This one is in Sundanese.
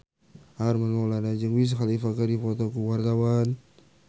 Armand Maulana jeung Wiz Khalifa keur dipoto ku wartawan